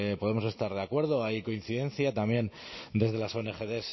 podemos estar de acuerdo hay coincidencia también desde las ongd